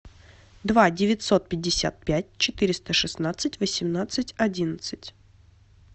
два девятьсот пятьдесят пять четыреста шестнадцать восемнадцать одиннадцать